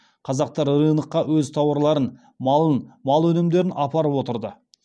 қазақтар рынокқа өз тауарларын малын мал өнімдерін апарып отырды